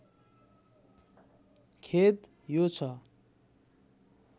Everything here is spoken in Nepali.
खेद यो छ